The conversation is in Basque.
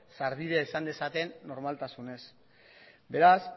sarbidea izan dezaten normaltasunez beraz